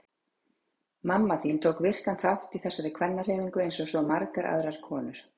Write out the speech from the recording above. Mamma þín tók virkan þátt í þessari kvennahreyfingu eins og svo margar aðrar konur.